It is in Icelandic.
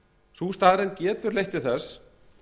sú staðreynd getur leitt til þess